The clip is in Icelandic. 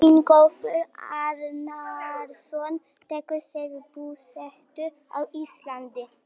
Ingólfur Arnarson tekur sér búsetu á Íslandi.